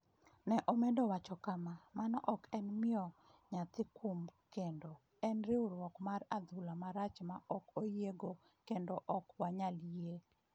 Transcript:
Ne omedo wacho kama: “Mano ok en miyo nyathino kum kendo, en riwruok mar adhula marach ma ok oyiego kendo ok wanyal yie.”